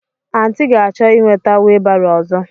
Aunty ga-achọ ị nweta wheelbarrow ọzọ.